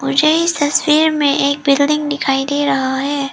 मुझे इस तस्वीर में एक बिल्डिंग दिखाई दे रहा है।